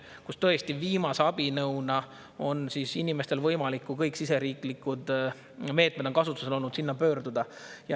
Kui tõesti kõik siseriiklikud meetmed on kasutusel olnud, siis viimase abinõuna on inimestel võimalik selle poole pöörduda.